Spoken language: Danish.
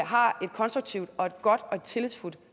har et konstruktivt godt og tillidsfuldt